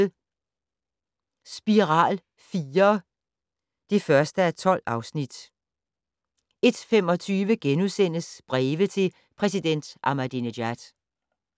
00:30: Spiral IV (1:12) 01:25: Breve til præsident Ahmadinejad *